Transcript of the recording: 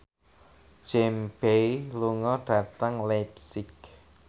James Bay lunga dhateng leipzig